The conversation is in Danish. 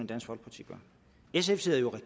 dansk folkeparti får